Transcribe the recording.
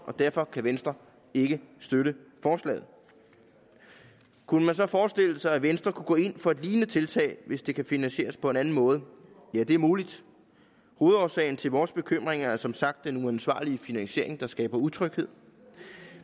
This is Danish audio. og derfor kan venstre ikke støtte forslaget kunne man så forestille sig at venstre kunne gå ind for et lignende tiltag hvis det kan finansieres på en anden måde ja det er muligt hovedårsagen til vores bekymring er som sagt den uansvarlige finansiering der skaber utryghed